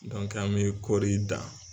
an bɛ kɔri dan.